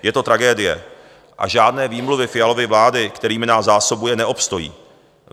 Je to tragédie a žádné výmluvy Fialovy vlády, kterými nás zásobuje, neobstojí.